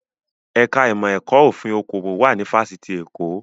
Ẹ̀ka ìmọ̀ ẹ̀kọ́ òfin okòwò wà ní Fáṣítì Èkó